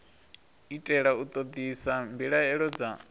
itela u ṱoḓisisa mbilaelo dza